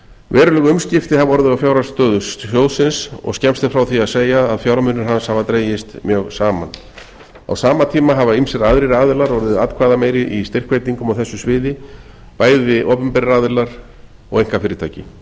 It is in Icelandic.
veruleg umskipti hafa orðið á fjárhagsstöðu sjóðsins og skemmst er frá því að segja að fjármunir hans hafa dregist mjög saman á sama tíma hafa ýmsir aðrir aðilar orðið atkvæðameiri í styrkveitingum á þessu sviði bæði opinberir aðilar og einkafyrirtæki